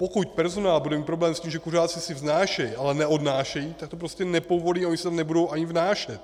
Pokud personál bude mít problém s tím, že kuřáci si vnášejí, ale neodnášejí, tak to prostě nepovolí a oni si to nebudou ani vnášet.